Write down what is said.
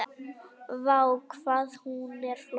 Vá, hvað hún er flott!